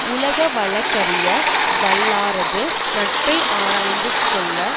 உலகவழக்கறிய வல்லாரது நட்பை ஆராய்ந்து கொள்ள